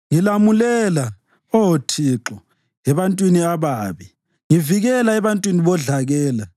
Ngilamulela, Oh Thixo, ebantwini ababi; ngivikela ebantwini bodlakela,